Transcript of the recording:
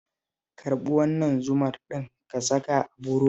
Karɓi wannan zumar ɗin ka saka a burodin